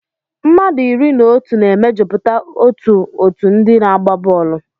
Mmadụ iri na otu na-emejupụta otú òtù ndị na-agba bọọlụ.